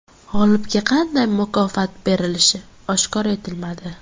G‘olibga qanday mukofot berilishi oshkor etilmadi.